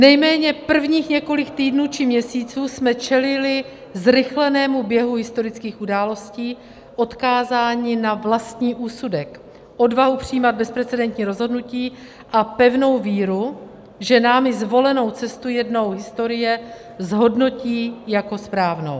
Nejméně prvních několik týdnů či měsíců jsme čelili zrychlenému běhu historických událostí, odkázáni na vlastní úsudek, odvahu přijímat bezprecedentní rozhodnutí a pevnou víru, že námi zvolenou cestu jednou historie zhodnotí jako správnou.